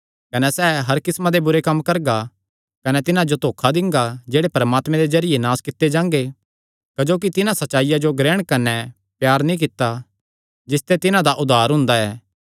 कने सैह़ हर किस्मां दे बुरे कम्म करगा कने तिन्हां जो धोखा दिंगा जेह्ड़े परमात्मे दे जरिये नास कित्ते जांगे क्जोकि तिन्हां सच्चाईया जो ग्रहण कने प्यार नीं कित्ता जिसते तिन्हां दा उद्धार हुंदा ऐ